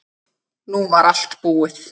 Nú var allt búið.